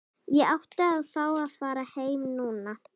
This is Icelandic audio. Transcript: Ég átti að fá að fara heim núna.